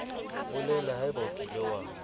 bolela haebe o kile wa